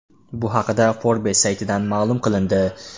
Bu haqda Forbes saytida ma’lum qilindi .